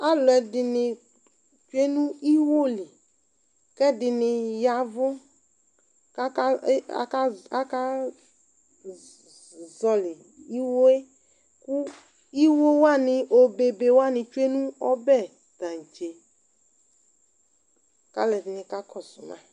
Alʋɛdɩnɩ tsue nʋ iwo li kʋ ɛdɩnɩ ya ɛvʋ kʋ aka e aka akazɔɣɔlɩ iwo yɛ kʋ iwo wanɩ obebe wanɩ tsue nʋ ɔbɛ taŋtse kʋ alʋɛdɩnɩ kakɔsʋ ma